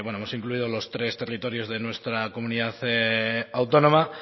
hemos incluido los tres territorios de nuestra comunidad autónoma